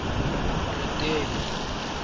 moretele